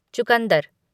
चुकंदर